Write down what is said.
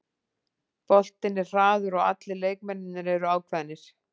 Boltinn er hraður og allir leikmennirnir eru ákveðnir.